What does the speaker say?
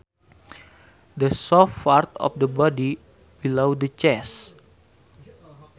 The soft part of the body below the chest